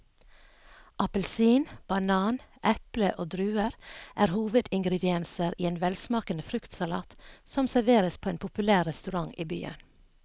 Appelsin, banan, eple og druer er hovedingredienser i en velsmakende fruktsalat som serveres på en populær restaurant i byen.